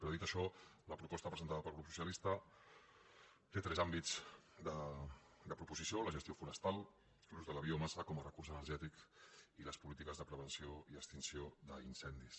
però dit això la proposta presentada pel grup soci·alista té tres àmbits de proposició la gestió forestal l’ús de la biomassa com a recurs energètic i les polí·tiques de prevenció i extinció d’incendis